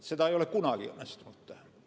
Seda ei ole kunagi õnnestunud teha.